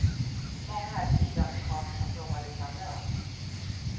Många är sydamerikaner som jobbar utan lön.